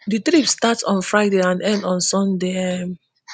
di trip start on friday and end on sunday um